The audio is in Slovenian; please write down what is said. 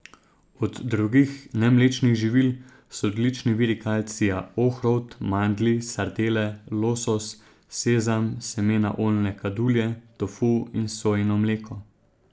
Od drugih, nemlečnih živil so odlični viri kalcija ohrovt, mandlji, sardele, losos, sezam, semena oljne kadulje, tofu in sojino mleko.